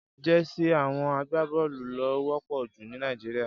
Jèsí áwòn àgbábòlú ló wòpò jú ni Nàijiriá